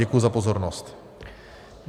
Děkuji za pozornost.